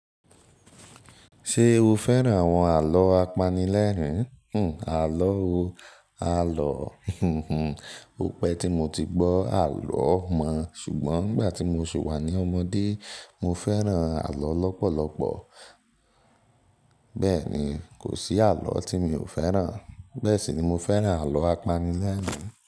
Ṣé o fẹ́ràn àwọn àlọ́ apanilẹ́rìn? Hhm àlọ́ ò, àlọ́ ó pẹ tí mo ti gbọ́ àlọ́ mọ́ ṣùgbọ́n nígbà tí mo ṣi wá ní ọmọdé, mo fẹ́ràn àlọ́ lọ́pọ̀lọ́pọ̀. Bẹ́ẹ̀ ni, kò sí àlọ́ tí mi ò fẹ́ràn. Bẹ́ẹ̀ sì ni mo fẹ́ràn àlọ́ apanilẹ́rìn.